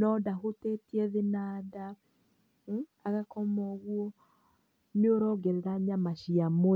no ndahutĩtie thĩ na nda, agakoma ũguo, nĩũrongerera nyama cia mwĩrĩ.